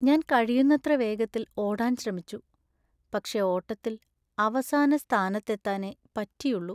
ഞാൻ കഴിയുന്നത്ര വേഗത്തിൽ ഓടാൻ ശ്രമിച്ചു ,പക്ഷേ ഓട്ടത്തിൽ അവസാന സ്ഥാനത്തെത്താനെ പറ്റിയുള്ളൂ.